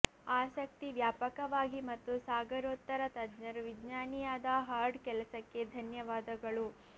ಆಸಕ್ತಿ ವ್ಯಾಪಕವಾಗಿ ಮತ್ತು ಸಾಗರೋತ್ತರ ತಜ್ಞರು ವಿಜ್ಞಾನಿಯಾದ ಹಾರ್ಡ್ ಕೆಲಸಕ್ಕೆ ಧನ್ಯವಾದಗಳು